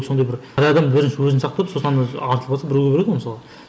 сондай бір әр адам бірінші өзін сақтап сосын ана артылған соң біреуге береді ғой мысалы